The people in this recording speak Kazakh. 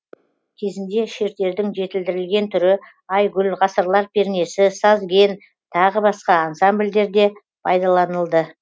кезінде шертердің жетілдірілген түрі айгүл ғасырлар пернесі сазген тағы басқа ансамбльдерде пайдаланылды